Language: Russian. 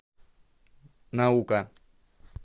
наука